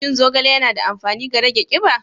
Shin zogale yana da amfani ga rage kiba?